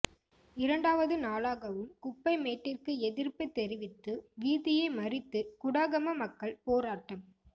இரண்டாவது நாளாகவும் குப்பைக்மேட்டிற்கு எதிர்ப்பு தெரிவித்து வீதியை மறித்து குடாகம மக்கள் போராட்டம்